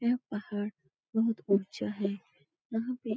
यह पहाड़ बोहोत